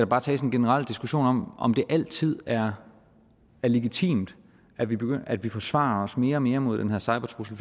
bare tages en generel diskussion om om det altid er legitimt at vi at vi forsvarer os mere og mere mod den her cybertrussel